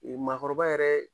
maakɔrɔba yɛrɛ